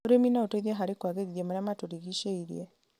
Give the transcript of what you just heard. ũrĩmi no ũteithie harĩ kũagĩrithia marĩa matũrigicĩirie.